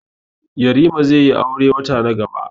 Yarima zaiyi aure wata na gaba.